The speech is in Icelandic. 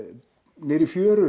niðri í fjöru